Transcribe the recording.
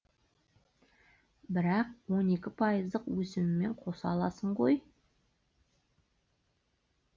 бірақ он екі пайыздық өсімімен қоса аласың ғой